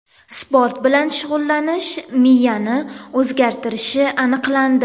Sport bilan shug‘ullanish miyani o‘zgartirishi aniqlandi.